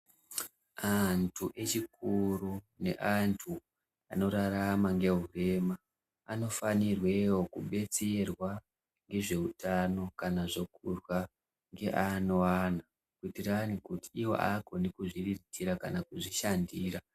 Antu echikuru neantu anorarama nehurema anofanirwewo kudetserwa nezvehutano kana zvekurya nevamwe vantu kuitira kuti nekuzviriritira kana kuzvishandira.